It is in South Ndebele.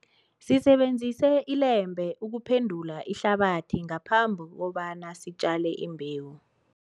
Sisebenzise ilembe ukuphendula ihlabathi ngaphambi kobana sitjale imbewu.